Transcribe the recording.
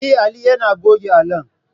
Eh, Ali yane goge allon